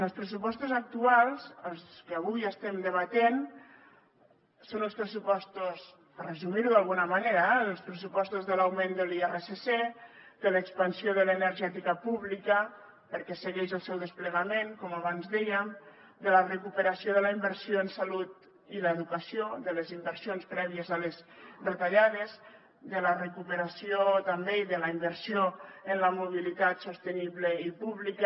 els pressupostos actuals els que avui estem debatent són els pressupostos per resumir ho d’alguna manera eh de l’augment de l’irsc de l’expansió de l’energètica pública perquè segueix el seu desplegament com abans dèiem de la recuperació de la inversió en salut i educació de les inversions prèvies a les retallades de la recuperació també i de la inversió en la mobilitat sostenible i pública